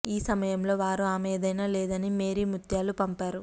ఈ సమయంలో వారు ఆమె ఏదైనా లేదని మేరీ ముత్యాలు పంపారు